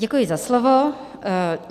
Děkuji za slovo.